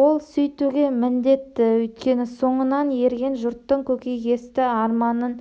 ол сөйтуге міндетті өйткені соңынан ерген жұрттың көкейкесті арманын